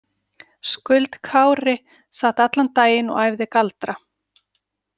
Skuld Kári sat allan daginn og æfði galdra.